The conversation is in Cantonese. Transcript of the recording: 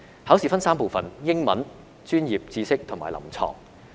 考試分3部分，分別是英文、專業知識及臨床。